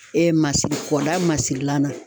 Ee masiri kɔda masirilan na.